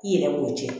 I yɛrɛ b'o cɛn